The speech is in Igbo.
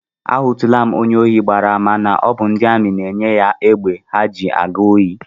Ahụtụla m onye ohi gbara àmà na ọ bụ ndị amị na-enye ya egbe ha ji aga ohi